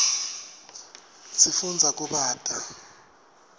sifundza kubata